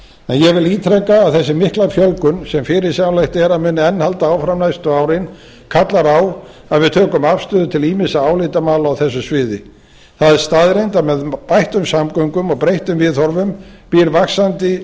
ég vil ítreka að þessi mikla fjölgun sem fyrirsjáanlegt er að muni enn halda áfram næstu árin kallar á að við tökum afstöðu til ýmissa álitamála á þessu sviði það er staðreynd að með bættum samgöngum og breyttum viðhorfum býr vaxandi